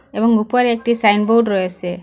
এবং উপরে একটি সাইনবোর্ড রয়েসে।